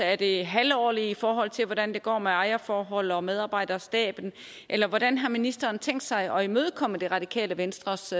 er det halvårlig afrapportering i forhold til hvordan det går med ejerforhold og medarbejderstaben eller hvordan har ministeren tænkt sig at imødekomme det radikale venstres